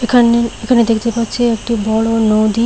এখানে এখানে দেখতে পাচ্ছি একটি বড় নদী।